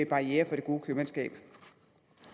barrierer for det gode købmandskab